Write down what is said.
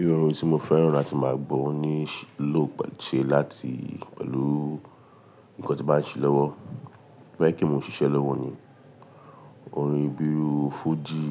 Iru orin tí mo fẹ́ràn láti máa gbọ́, o ní lò pelu, ṣe láti pẹ̀lú nǹkan tí n bà ń ṣe lọ́wọ́. Ba jẹ pé mo n ṣiṣẹ́ lọ́wọ́ ni, orin bíru fújì,